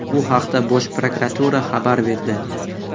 Bu haqda Bosh Prokuratura xabar berdi .